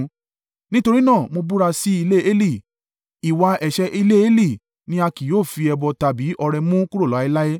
Nítorí náà, mo búra sí ilé Eli, ‘Ìwà ẹ̀ṣẹ̀ ilé Eli ni a kì yóò fi ẹbọ tàbí ọrẹ mú kúrò láéláé.’ ”